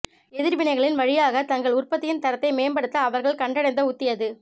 எதிர்வினைகளின் வழியாக தங்கள் உற்பத்தியின் தரத்தை மேம்படுத்த அவர்கள் கண்டடைந்த உத்தி அது